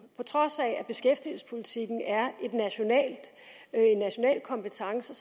på trods af at beskæftigelsespolitikken er en national kompetence